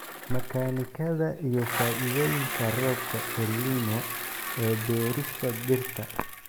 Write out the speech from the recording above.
Makaanikada iyo faa'iidooyinka roobabka El Niño ee beerista dhirta.